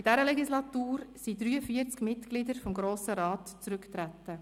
In dieser Legislatur traten 43 Mitglieder des Grossen Rats zurück.